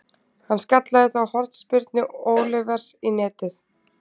Hann skallaði þá hornspyrnu Olivers í netið.